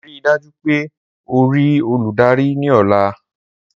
Rii daju pe o rii oludari ni ọla!